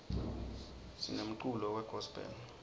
sinemculo we gospel